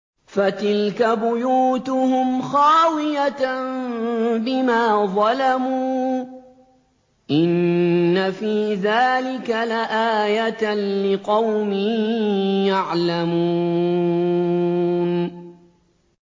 فَتِلْكَ بُيُوتُهُمْ خَاوِيَةً بِمَا ظَلَمُوا ۗ إِنَّ فِي ذَٰلِكَ لَآيَةً لِّقَوْمٍ يَعْلَمُونَ